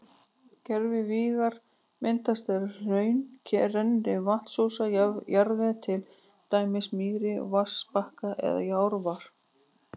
Gervigígar myndast þegar hraun rennur yfir vatnsósa jarðveg, til dæmis mýri, vatnsbakka eða árfarveg.